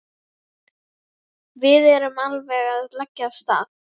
Við erum alveg að leggja af stað.